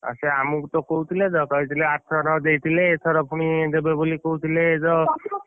ହଁ ସେ ଆମକୁ ତ କହୁଥିଲେ ତ, କହିଥିଲେ ଆରଥର ଦେଇଥିଲେ ଏଥର ପୁଣି ଦେବେ ବୋଲି କହୁଥିଲେ ତ ,